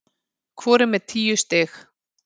Hvor er með tíu stig